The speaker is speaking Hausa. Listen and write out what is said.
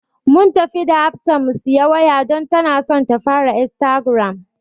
Mun tafi da Hafsa mu siyi waya don tana son ta fara istagiram.